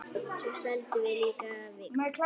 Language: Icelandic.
Svo seldum við líka Vikuna.